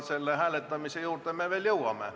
Selle hääletamise juurde me veel jõuame.